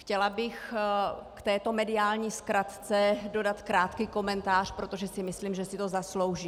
Chtěla bych k této mediální zkratce dodat krátký komentář, protože si myslím, že si to zaslouží.